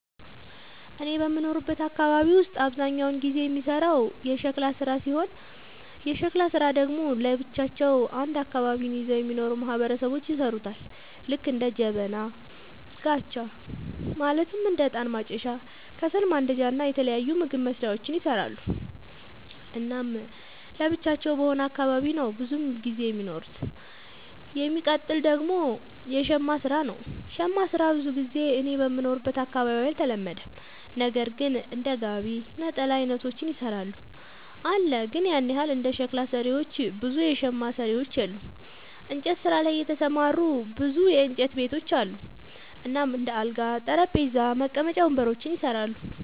እኔ በምኖርበት አካባቢ ውስጥ አብዛኛውን ጊዜ የሚሰራው የሸክላ ስራ ሲሆን የሸክላ ስራ ደግሞ ለብቻቸው አንድ አካባቢን ይዘው የሚኖሩ ማህበረሰቦች ይሠሩታል ልክ እንደ ጀበና፣ ጋቻ ማለትም እንደ እጣን ማጨሻ፣ ከሰል ማንዳጃ እና የተለያዩ ምግብ መስሪያዎችን ይሰራሉ። እናም ለብቻቸው በሆነ አካባቢ ነው ብዙም ጊዜ የሚኖሩት። የሚቀጥል ደግሞ የሸማ ስራ ነው, ሸማ ስራ ብዙ ጊዜ እኔ በምኖርበት አካባቢ አልተለመደም ነገር ግን እንደ ጋቢ፣ ነጠላ አይነቶችን ይሰራሉ አለ ግን ያን ያህል እንደ ሸክላ ሰሪዎች ብዙ የሸማ ሰሪዎች የሉም። እንጨት ስራ ላይ የተሰማሩ ብዙ የእንጨት ቤቶች አሉ እናም እንደ አልጋ፣ ጠረጴዛ፣ መቀመጫ ወንበሮችን ይሰራሉ።